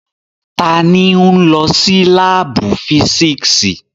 Tani n lọ si laabu fisiksi?